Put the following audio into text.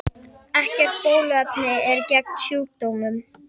Ekkert bóluefni er til gegn sjúkdómnum.